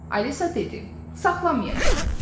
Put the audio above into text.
Alisa dedi: Saxlamayacağam.